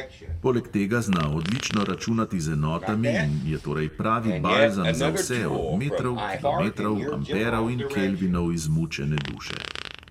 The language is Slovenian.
Poleg tega zna odlično računati z enotami in je torej pravi balzam za vse od metrov, kilometrov, amperov in kelvinov izmučene duše.